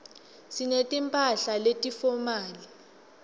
singeti mphahla leti fomali